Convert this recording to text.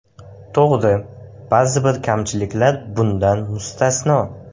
To‘g‘ri, ba’zi bir kamchiliklar bundan mustasno.